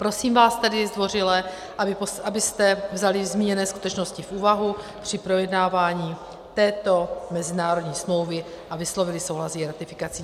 Prosím vás tedy zdvořile, abyste vzali zmíněné skutečnosti v úvahu při projednávání této mezinárodní smlouvy a vyslovili souhlas s její ratifikací.